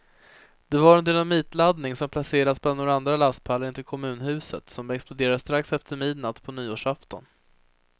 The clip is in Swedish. Det var en dynamitladdning som placerats bland några lastpallar intill kommunhuset, som exploderade strax efter midnatt på nyårsafton.